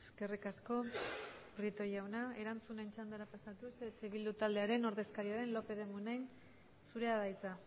eskerrik asko prieto jauna erantzunaren txandara pasatuz eh bildu taldearen ordezkaria den lópez de munain zurea da hitza